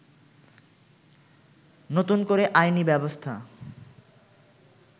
নতুন করে আইনি ব্যবস্থা